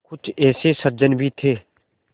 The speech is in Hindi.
कुछ ऐसे सज्जन भी थे